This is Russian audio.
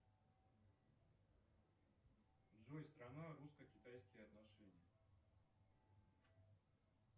джой страна русско китайские отношения